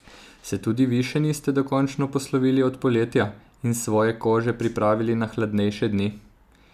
Se tudi vi še niste dokončno poslovili od poletja in svoje kože pripravili na hladnejše dni?